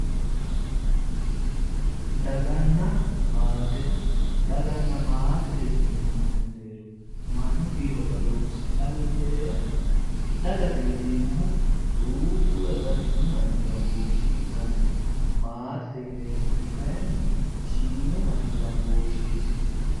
Daganna maate daganna maatete yineemmote mereeri mannu kiiro badooshshi callu heeranna dagate yineemmohu duuchu woy baatinyu manni gambooshshe ikkanna maatete yineemmoti kayinni shiimu manni gambooshsheeti